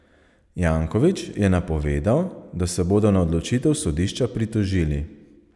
Janković je napovedal, da se bodo na odločitev sodišča pritožili.